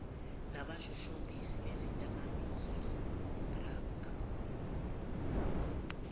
nabashushumbisi bezidakamizwa drug